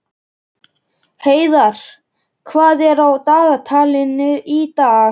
Heiðarr, hvað er á dagatalinu í dag?